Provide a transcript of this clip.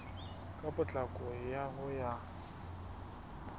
ka potlako ka ho ya